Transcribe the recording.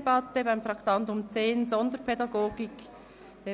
beantragt, bei Traktandum 10, Sonderpädagogik eine freie Debatte statt einer reduzierten Debatte zu führen.